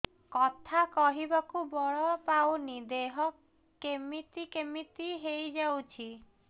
କଥା କହିବାକୁ ବଳ ପାଉନି ଦେହ କେମିତି କେମିତି ହେଇଯାଉଛି